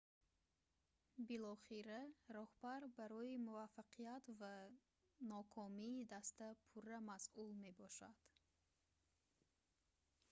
билохира роҳбар барои муваффақият ва нокомии даста пурра масъул мебошад